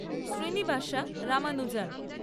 Srinivasa Ramanujan